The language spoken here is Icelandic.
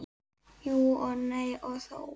Jú og nei og þó.